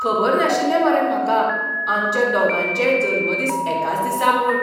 खबर नाशिल्लें मरे म्हाका आमच्या दोगांयचेय जल्मदीस एकाच दिसा म्हूण!